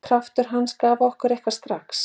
Kraftur hans gaf okkur eitthvað strax.